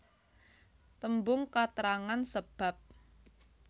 Tembung katrangan sebab